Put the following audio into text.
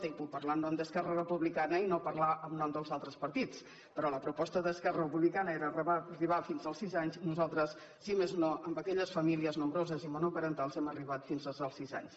i puc parlar en nom d’esquerra republicana i no parlar en nom dels altres partits però la proposta d’esquerra republicana era arribar fins als sis anys nosaltres si més no amb aquelles famílies nombroses i monoparentals hem arribat fins als sis anys